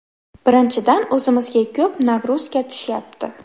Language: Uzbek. Birinchidan, o‘zimizga ko‘p ‘nagruzka’ tushyapti.